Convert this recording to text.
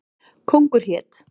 Kóngur hét.